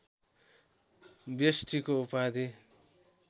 व्यष्टिको उपाधि